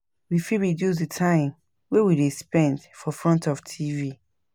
We fit reduce di time wey we de spend for front of TV